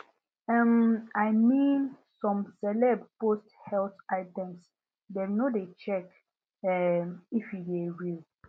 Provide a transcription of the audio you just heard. um i mean some celeb post health items dem no de check um if e de real